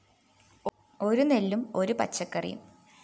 ഒരു നെല്ലും ഒരു പച്ചക്കറിയും